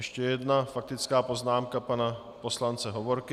Ještě jedna faktická poznámka pana poslance Hovorky.